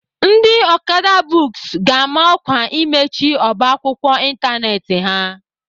Ndị Okada books ga-ama ọkwa imechi ọba akwụkwọ ịntanetị ha.